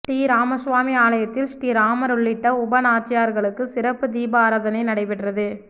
ஸ்ரீராமசுவாமி ஆலயத்தில் ஸ்ரீராமர் உள்ளிட்ட உபநாச்சியார்களுக்கு சிறப்பு தீபாராதனை நடைபெற்றது